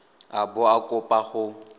a bo a kopa go